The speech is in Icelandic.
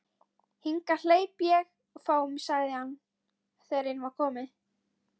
Hingað hleypi ég fáum sagði hann, þegar inn var komið.